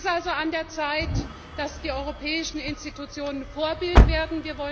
Es ist also an der Zeit, dass die europäischen Institutionen Vorbild werden.